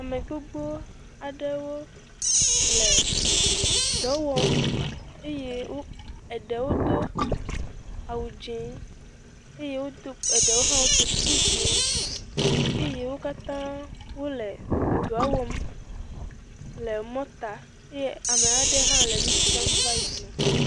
Ame gbogbo aɖewo le dɔ wɔm eye wodo, eɖewo do awu dzɛ eye wodo , eɖewo hã ɖɔ kuku dzɛ eyewo kata wole doa wɔm le emɔ ta eye amea ɖe hã le nu dzram va yina.